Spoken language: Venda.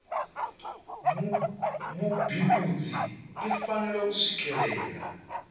mubindudzi i fanela u swikelela